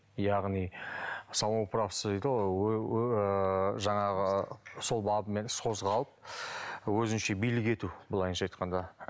яғни самоуправство дейді ғой жаңағы сол бабымен іс қозғалып өзінше билік ету былайша айтқанда